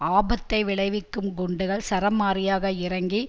ஆபத்தை விளைவிக்கும் குண்டுகள் சரமாரியாக இறங்கி